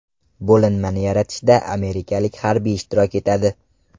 Bo‘linmani yaratishda amerikalik harbiylar ishtirok etadi.